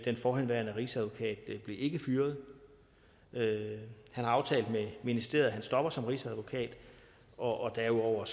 forhenværende rigsadvokat ikke blev fyret han har aftalt med ministeriet at han stopper som rigsadvokat og derudover